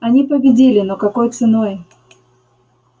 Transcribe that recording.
они победили но какой ценой